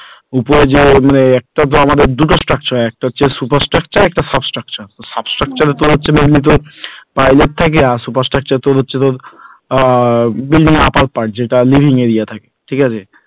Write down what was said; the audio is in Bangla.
উপরে যে মানে আমাদের তো দুটো structure হয়, একটা হচ্ছে super structure আর একটা হচ্ছে sub structurte, sub structure এ তোলার জন্য এমনিতেও pilot থাকে আর super structure হচ্ছে তোর আহ building এর upper part যেটা living area ঠিক আছে